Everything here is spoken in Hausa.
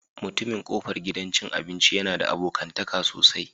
Mutumin kofar gidan cin abinci yana da abokantaka sosai